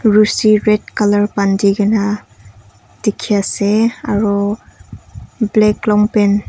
rosi red colour bandi kena dikhi ase aru black long pant .